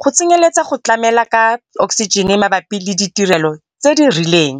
go tsenyeletsa go tlamela ka oksijene mabapi le ditirelo tse di rileng.